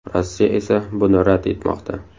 Rossiya esa buni rad etmoqda.